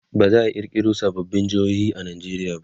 baza'a kirkiro sababbin jehohi a Nigeria ba